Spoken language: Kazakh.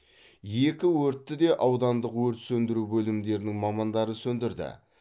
екі өртті де аудандық өрт сөндіру бөлімдерінің мамандары сөндірді